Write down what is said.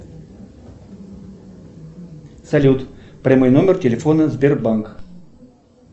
салют прямой номер телефона сбербанк